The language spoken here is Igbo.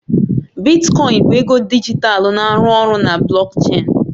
Bitkoin bụ ego dijitalụ na-arụ ọrụ na blockchain.